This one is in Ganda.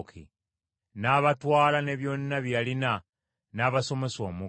N’abatwala ne byonna bye yalina n’abasomosa omugga.